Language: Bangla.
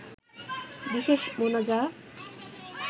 বিশেষ মোনাজা